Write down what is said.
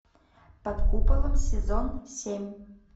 под куполом сезон семь